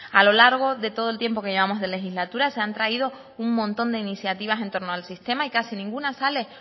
a lo largo de todo el tiempo que llevamos de legislatura se han traído un montón de iniciativa entorno al sistema y casi ninguna sale